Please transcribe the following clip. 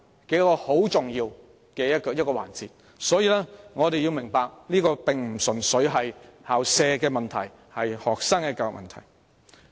這是重要的一環，我們要明白這並非純粹關乎校舍問題，而是關乎對學生的教育問題。